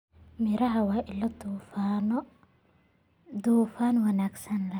Miraha waa ilo dufan wanaagsan leh.